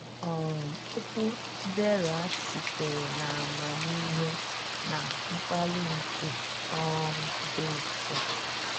um Okwu Chidera sitere n’amamihe na mkpali nke um dị nsọ.